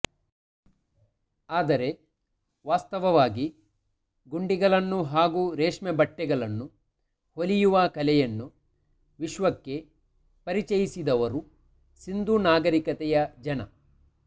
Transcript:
ಆದರೆ ವಾಸ್ತವವಾಗಿ ಗುಂಡಿಗಳನ್ನು ಹಾಗೂ ರೇಶ್ಮೆ ಬಟ್ಟೆಗಳನ್ನು ಹೊಲಿಯುವ ಕಲೆಯನ್ನು ವಿಶ್ವಕ್ಕೆ ಪರಿಚಯಿಸಿದವರು ಸಿಂಧು ನಾಗರಿಕತೆಯ ಜನ